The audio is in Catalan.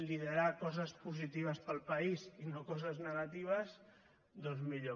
liderar coses positives per al país i no coses negatives doncs millor